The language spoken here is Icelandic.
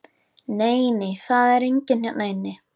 Nei, nei, það er enginn hérna inni.